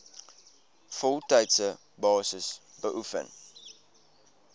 voltydse basis beoefen